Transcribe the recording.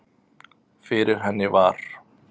Fyrir henni var